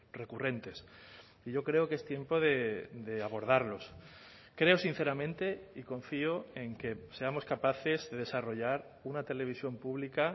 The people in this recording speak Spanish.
recurrentes y yo creo que es tiempo de abordarlos creo sinceramente y confío en que seamos capaces de desarrollar una televisión pública